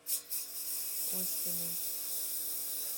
оськиной